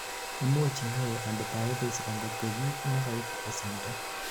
imuch inyoru antibiotics angot ko kiit nekoibu ko simdo